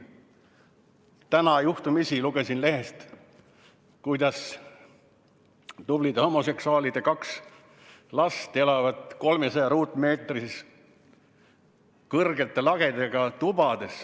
Täna juhtumisi lugesin lehest, kuidas tublide homoseksuaalide kaks last elavat 300-ruutmeetristes kõrgete lagedega tubades.